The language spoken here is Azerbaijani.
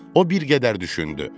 O bir qədər düşündü.